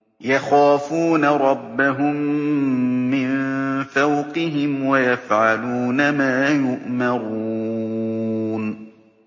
يَخَافُونَ رَبَّهُم مِّن فَوْقِهِمْ وَيَفْعَلُونَ مَا يُؤْمَرُونَ ۩